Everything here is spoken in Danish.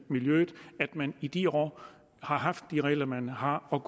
miljøet at man i de år har haft de regler man har og